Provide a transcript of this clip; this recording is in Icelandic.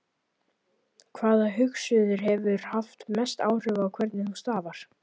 Hvaða hugsuður hefur haft mest áhrif á hvernig þú starfar?